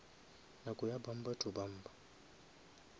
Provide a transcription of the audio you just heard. nako ya bumper to bumper